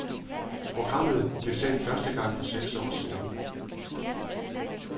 Programmet blev sendt første gang for seks år siden.